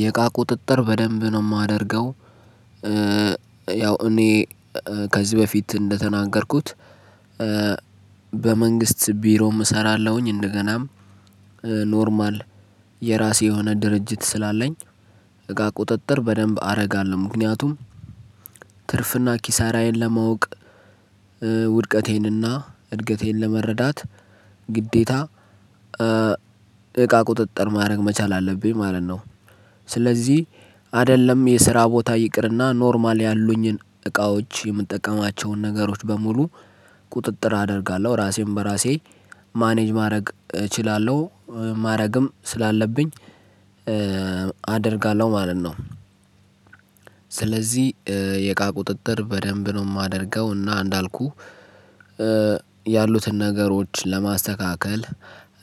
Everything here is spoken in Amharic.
የእቃ ቁጥጥር በደንብ ነው የማደርገው። ያው እኔ ከዚህ በፊት እንደተናገርኩት። በመንግስት ቢሮም እሰራለሁኝ እንደገናም ኖርማል የራሴ የሆነ ድርጅት ስላለኝ እቃ ቁጥጥር በደንብ አደርጋለሁ። ምክንያቱም ትርፍ እና ኪሳራዬን ለማወቅ ውድቀቴን እና እድገቴን ለመረዳት ግዴታ እቃ ቁጥጥር ማድረግ መቻል አለብኝ ማለት ነው። ስለዚህ አይደለም የስራ ቦታ ይቅርና ኖርማል ያሉኝን እቃዎች የምጠቀማቸውን ነገሮች በሙሉ ቁጥጥር አደርጋለሁ። ራሴን በራሴ ማኔጅ ማድረግ እችላለሁ ማድረግም ስላለብኝ አደርጋለሁ ማለት ነው። ስለዚህ የእቃ ቁጥጥር በደንብ ነው የማደርገው እና እንዳልኩህ። ያሉትን ነገሮች ለማስተካከል